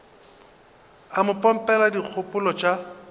o mo pompela dikgopolo tša